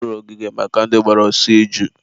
a rụrụ ogige maka ndị gbara ọsọ iju